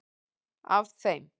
Af þeim